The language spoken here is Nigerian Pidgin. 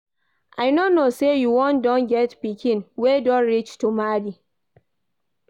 I no know say you don get pikin wey don reach to marry oo